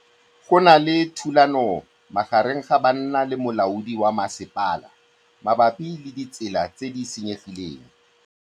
Go na le thulanô magareng ga banna le molaodi wa masepala mabapi le ditsela tse di senyegileng.